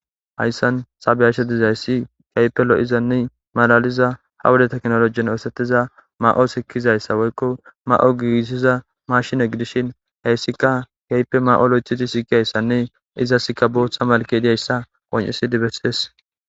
hayssan ta beyashe bdizayssi keehippe lo7izanne malaliza hawuda teknolojiyon eesetiza ma7o sikizayssa woykko ma7o giisiza mashine gidishin heyssika kaype ma7olo ithidi siikiyayssanne izasika booththa malkediyayssa qoncesidi bessees